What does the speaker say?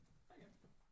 Hej igen